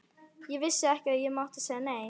Ég vissi ekki að ég mátti segja nei.